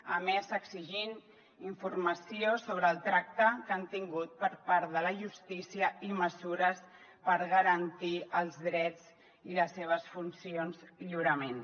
a més exigint informació sobre el tracte que han tingut per part de la justícia i mesures per garantir els drets i les seves funcions lliurement